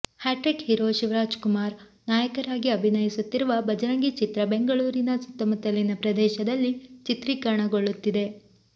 hat trick hero Shivarajkumar ನಾಯಕರಾಗಿ ಅಭಿನಯಿಸುತ್ತಿರುವ ಭಜರಂಗಿ ಚಿತ್ರ ಬೆಂಗಳೂರಿನ ಸುತ್ತಮುತ್ತಲಿನ ಪ್ರದೇಶದಲ್ಲಿ ಚಿತ್ರೀಕರಣಗೊಳ್ಳುತ್ತಿದೆ